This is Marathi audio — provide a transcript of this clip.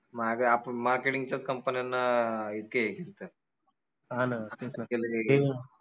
माग आपन marketing च्याच company न्यांना इतके